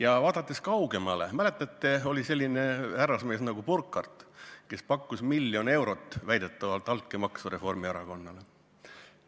Aga vaadakem kaugemale: mäletate, oli selline härrasmees nagu Burkhardt, kes pakkus väidetavalt miljon eurot altkäemaksu Reformierakonnale.